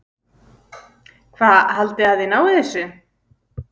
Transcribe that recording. Hvað haldið þið að þið náið þessu?